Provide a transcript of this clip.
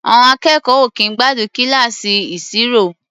À̀ọn akẹ́kọ̀ọ́ ò kì í gbádùn kíláàsì ìṣirò.